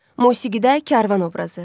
Musiqidə Kərvan obrazı.